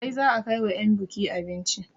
Kai za a kai wa 'yan buki abinci!